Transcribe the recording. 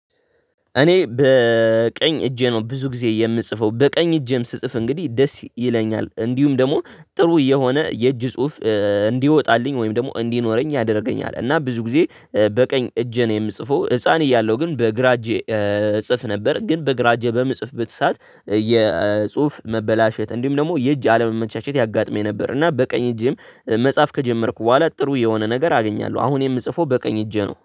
እኔ በቀኝ እጄ ነው ብዙ ጊዜ የምጽፈው በቀኝ እጄም ስጽፍ እንግዲህ ደስ ይለኛል እንዲሁም ደግሞ ጥሩ የሆነ የእጅ ጽሁፍ እንዲወጣልኝ ወይም ደግሞ እንዲኖረኝ ያደርገኛል እና ብዙ ጊዜ በቀኝ እጄ ነው። የምጽፈው ህፃን እያለሁ ግን በግራ እጄ እጽፍ ነበር ግን በግራ እጄ በምጽፍበት ሰዓት መበላሸት እንዲሁም ደግሞ የእጅ አለመመቻቸት ያጋጥመኝ ነበር። እና በቀኝ እጄም መጻፍ ከጀመርኩ በኋላ ጥሩ የሆነ ነገር አግኛለሁ አሁን የምጽፈው በቀኝ እጄ ነው